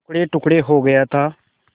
टुकड़ेटुकड़े हो गया था